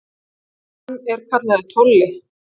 Hann er kallaður Tolli.